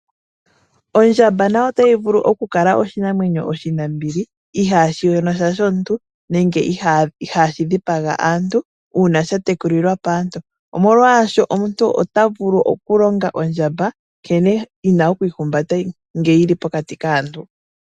Ondjamba nayo otayi vulu okukala oshinamwenyo oshinambili, ihashi yonosha shomuntu, nenge ihashi dhipaga aantu uuna shatekulilwa paantu, omolwasho omuntu otavulu okulonga ondjamba nkene yina okwiihumbata ngeyili pokati kaantu.